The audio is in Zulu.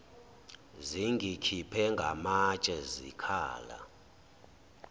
zingikhiphe ngamatshe zikhala